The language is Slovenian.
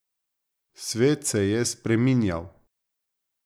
Svet se je spreminjal.